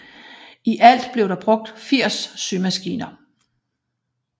I alt blev der brugt 80 symaskiner